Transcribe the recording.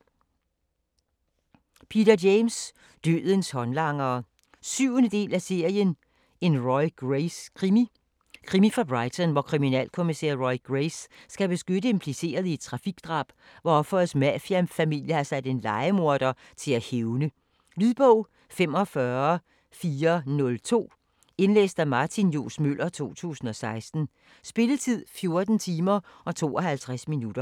James, Peter: Dødens håndlangere 7. del af serien En Roy Grace krimi. Krimi fra Brighton, hvor kriminalkommissær Roy Grace skal beskytte implicerede i et trafikdrab, hvor ofrets mafiafamilie har sat en lejemorder til at hævne. Lydbog 45402 Indlæst af Martin Johs. Møller, 2016. Spilletid: 14 timer, 52 minutter.